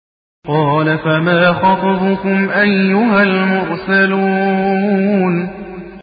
۞ قَالَ فَمَا خَطْبُكُمْ أَيُّهَا الْمُرْسَلُونَ